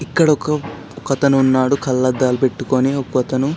ఇక్కడొక ఒకతను ఉన్నాడు కళ్లద్దాలు పెట్టుకొని ఒకతను--